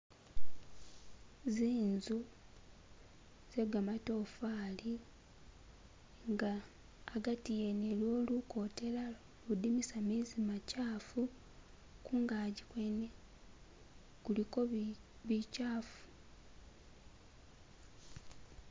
Zinzu zegamatafali nga agati wene iliwo lukotela uludimisa gamezi gamakyafu. Kungaji kwene kuliko bikyafu.